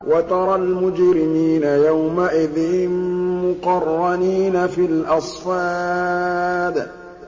وَتَرَى الْمُجْرِمِينَ يَوْمَئِذٍ مُّقَرَّنِينَ فِي الْأَصْفَادِ